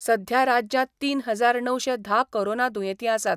सध्या राज्यांत तीन हजार णवशे धा कोरोना दुयेंती आसात.